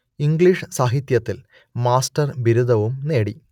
English സാഹിത്യത്തിൽ master ബിരുദവും നേടി